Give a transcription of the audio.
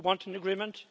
We want an agreement.